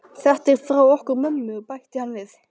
Þetta er frá okkur mömmu, bætti hann við.